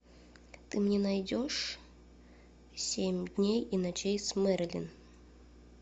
ты мне найдешь семь дней и ночей с мэрилин